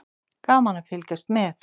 Gaman að fylgjast með.